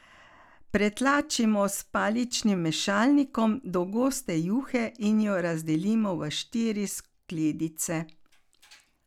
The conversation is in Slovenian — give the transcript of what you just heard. Pretlačimo s paličnim mešalnikom do goste juhe in jo razdelimo v štiri skledice.